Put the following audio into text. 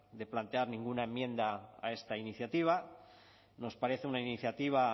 de plantear ninguna enmienda a esta iniciativa nos parece una iniciativa